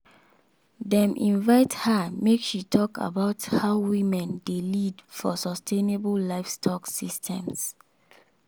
dem invite her make she talk about how women dey lead for sustainable livestock systems.